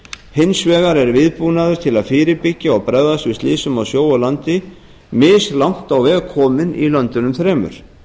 hins vegar er viðbúnaður til að fyrirbyggja og bregðast við slysum á sjó og landi mislangt á veg komin í löndunum þremur